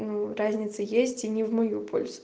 ну разница есть и не в мою пользу